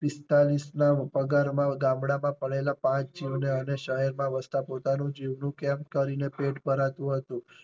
પિસ્તાળીસ ના પગારમાં ગામડા માં પડેલા પાંચ જીવ ને અને શહેર માં વસતા પોતાના જીવ નું કેમ કરી ને પેટ ભરાતું હતું.